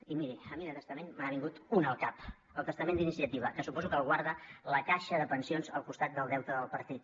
i miri a mi de testament me n’ha vingut un al cap el testament d’iniciativa que suposo que el guarda la caixa de pensions al costat del deute del partit